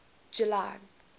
july